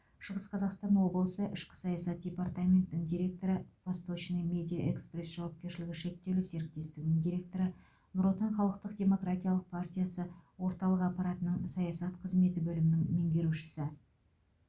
шығыс қазақстан облысы ішкі саясат департаментінің директоры восточный медиа экспресс жауапкершілігі шектеулі серіктестігінің директоры нұр отан халықтық демократиялық партиясы орталық аппаратының саясат қызметі бөлімінің меңгерушісі